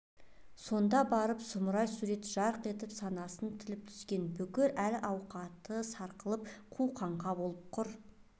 сонда барып сұмырай сурет жарқ етіп санасын тіліп түскен бүкіл әл-қуаты сарқылып қу қаңқа болып құр